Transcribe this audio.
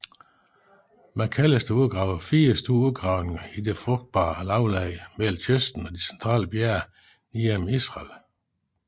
Macalister udgravede fire store udgravninger i det frugtbae lavland mellem kysten og de centrale bjerge ned gennem Israel